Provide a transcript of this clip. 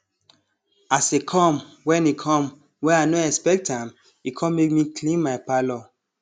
as e com wen e com wen i no expect am e com make me clean my parlour